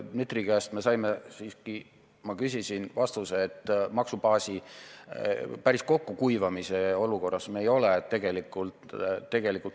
Dmitri käest me saime, kui ma küsisin, vastuse, et maksubaasi päris kokkukuivamise olukorras me tegelikult ei ole.